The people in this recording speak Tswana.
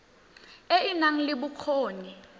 e e nang le bokgoni